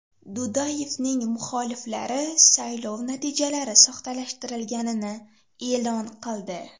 Dudayevning muxoliflari saylov natijalari soxtalashtirilganini e’lon qildi.